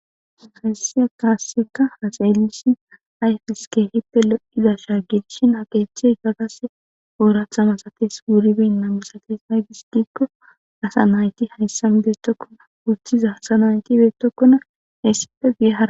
Hayisiya kaasseka hasa elishin ayfeske hitte lo'idasha gidishin haqeeche gagase oorathamasates wuriben namisates naygisgikko asa nayti hayssam deetokkona wochiza asanaytibeetokkona eessipe gia